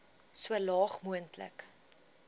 so laag moontlik